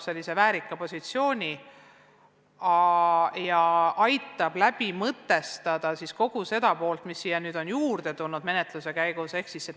Keeleamet saab väärika positsiooni ja aitab mõtestada kogu seda tegevust, mis puudutab täiskasvanute keeleõpet, mis menetluse käigus on lisandunud.